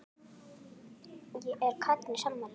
Er Katrín sammála því?